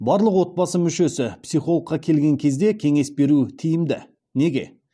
барлық отбасы мүшесі психологқа келген кезде кеңес беру тиімді неге